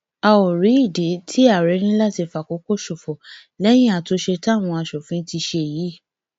a ó rí ìdí tí àárẹ fi ní láti fàkókò ṣòfò lẹyìn àtúnṣe táwọn asòfin ti ṣe yìí